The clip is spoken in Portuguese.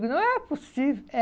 Digo, não é possível. É